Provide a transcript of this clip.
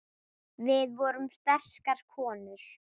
Við vorum sterkar konur.